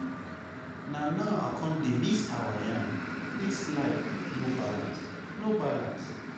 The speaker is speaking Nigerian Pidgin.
Na now I come dey miss our yarn, this life no balance, no balace.